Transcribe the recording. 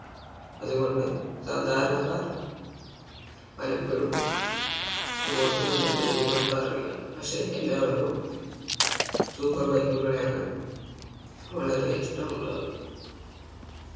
അതുകൊണ്ട് സാധാരണക്കാർ പലപ്പോഴും അങ്ങോട്ട് തന്നെ തിരിഞ്ഞു നോക്കാറില്ല പക്ഷെ എല്ലാവർക്കും Super bike കളെയാണ് വളരെ ഇഷ്ടമുള്ളത്